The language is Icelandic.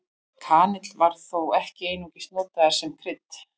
Kanill var þó ekki einungis notaður sem krydd.